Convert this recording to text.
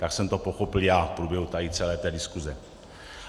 Tak jsem to pochopil já v průběhu tady celé té diskuse.